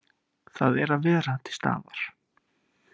Það er að vera til staðar.